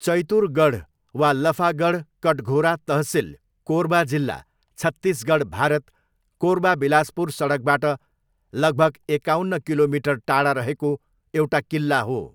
चैतुरगढ वा लफागढ कटघोरा तहसिल, कोरबा जिल्ला, छत्तिसगढ, भारत, कोरबा बिलासपुर सडकबाट लगभग एकाउन्न किलोमिटर टाढा रहेको एउटा किल्ला हो।